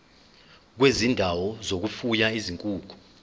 kwezindawo zokufuya izinkukhu